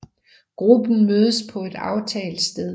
Gruppen mødes på et aftalt sted